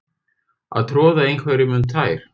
Að troða einhverjum um tær